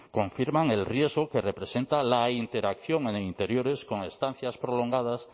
confirman el riesgo que representa la interacción en interiores con estancias prolongadas